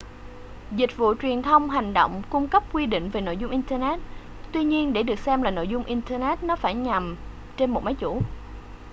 dịch vụ truyền thông hành động cung cấp quy định về nội dung internet tuy nhiên để được xem là nội dung internet nó phải nằm trên một máy chủ